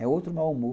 É outro mau humor.